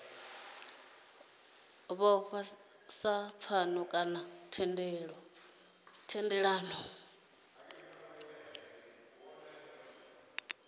vhofha sa pfano kana thendelano